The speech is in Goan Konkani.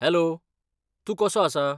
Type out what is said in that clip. हॅलो, तूं कसो आसा?